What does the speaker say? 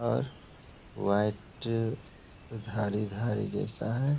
और व्हाइट धारी-धारी जैसा है।